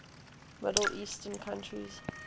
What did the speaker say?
middle eastern countries